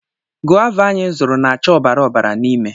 Gova anyị zụrụ na-acha ọbara ọbara n'ime.